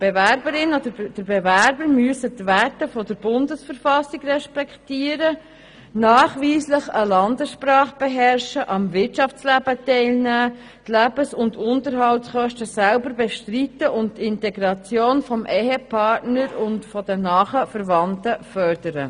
Die Bewerberin oder der Bewerber muss die Werte der Bundesverfassung respektieren, nachweislich eine Landessprache sprechen, am Wirtschaftsleben teilnehmen, die Lebenshaltungs- und Unterhaltskosten selber bestreiten und die Integration des Ehepartners und der nahen Verwandten fördern.